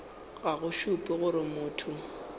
ga go šupe gore motho